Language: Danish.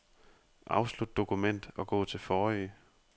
Afslut dokument og gå til forrige.